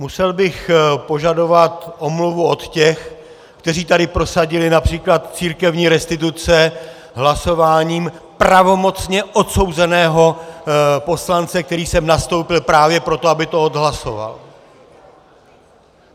Musel bych požadovat omluvu od těch, kteří tady prosadili například církevní restituce hlasováním pravomocně odsouzeného poslance, který sem nastoupil právě proto, aby to odhlasoval.